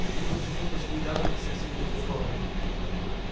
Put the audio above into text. они почему-то шли рядом и совсем не в ту сторону